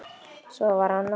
Svo var annað.